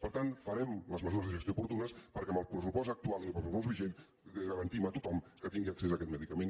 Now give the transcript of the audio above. per tant farem les mesures de gestió oportunes perquè amb el pressupost actual i amb el pressupost vigent garantim a tothom que tingui accés a aquest medicament